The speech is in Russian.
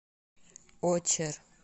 очер